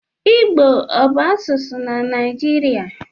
Igbo ọ bụ asụsụ na Naịjirịa?